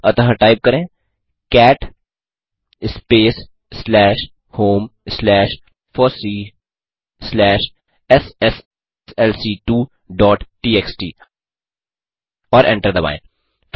अतः टाइप करें cat space slash home slash FOSSEE slash एसएसएलसी2 डॉट टीएक्सटी और एंटर दबाएँ